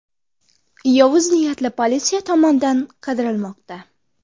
Yovuz niyatli politsiya tomonidan qidirilmoqda.